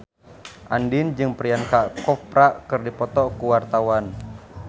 Andien jeung Priyanka Chopra keur dipoto ku wartawan